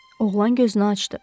Oğlan gözünü açdı.